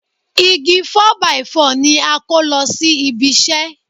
Igi 4 by 4 ni a kó lọ sí ibi iṣẹ́